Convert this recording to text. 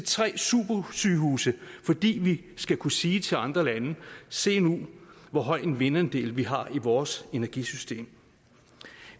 tre supersygehuse fordi vi skal kunne sige til andre lande se nu hvor høj en vindandel vi har i vores energisystem